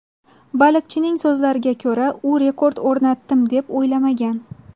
Baliqchining so‘zlariga ko‘ra, u rekord o‘rnatdim, deb o‘ylamagan.